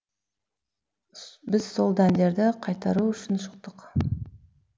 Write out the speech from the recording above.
біз сол дәндерді қайтару үшін шықтық